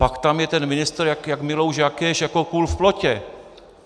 Pak tam je ten ministr jak Milouš Jakeš jako kůl v plotě.